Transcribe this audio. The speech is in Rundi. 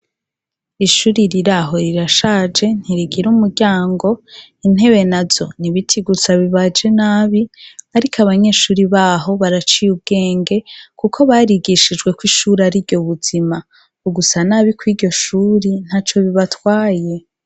Ishuri riraho rirashaje ntirigira umuryango. Intebe nazo ni ibiti gusa bibaje nabi. Ariko abanyeshuri baho baraciye ubwenge kuko barigishijwe ko ishuri ariryo buzima. Ugusa nabi kw' iryo shuri ntaco bibatwaye.